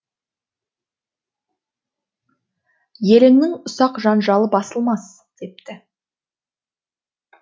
еліңнің ұсақ жанжалы басылмас депті